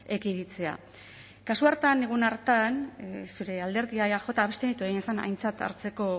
ekiditea kasu hartan egun hartan zure alderdia eaj abstenitu egin zen aintzat hartzeko